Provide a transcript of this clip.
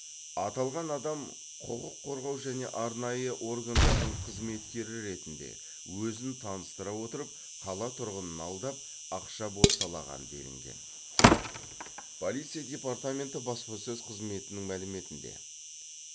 аталған адам құқық қорғау және арнайы органдардың қызметкері ретінде өзін таныстыра отырып қала тұрғынын алдап ақша бопсалаған делінген полиция департаменті баспасөз қызметінің мәліметінде